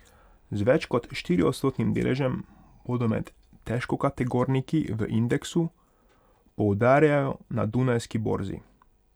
Z več kot štiriodstotnim deležem bodo med težkokategorniki v indeksu, poudarjajo na dunajski borzi.